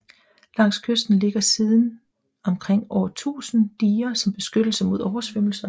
Langs kysten ligger siden omkring år 1000 diger som beskyttelse imod oversvømmelser